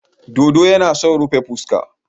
Dodo yana sa rufe fuska.